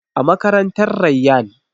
A makarantar Rayyan